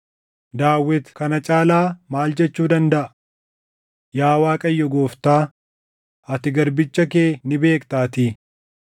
“Daawit kana caalaa maal jechuu dandaʼa? Yaa Waaqayyo Gooftaa, ati garbicha kee ni beektaatii.